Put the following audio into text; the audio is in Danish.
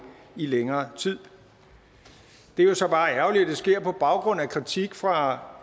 i længere tid det er jo så bare ærgerligt at det sker på baggrund af kritik fra